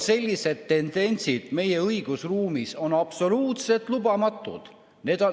Sellised tendentsid meie õigusruumis on absoluutselt lubamatud.